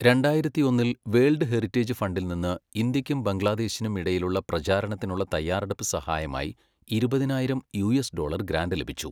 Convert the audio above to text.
രണ്ടായിരത്തിയൊന്നിൽ, world heritage ഫണ്ടിൽ നിന്ന് ഇന്ത്യയ്ക്കും ബംഗ്ലാദേശിനും ഇടയിലുള്ള പ്രചാരത്തിനുള്ള തയ്യാറെടുപ്പ് സഹായമായി ഇരുപതിനായിരം യുഎസ് ഡോളർ ഗ്രാന്റ് ലഭിച്ചു.